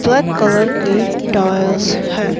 Black colour के tyres है।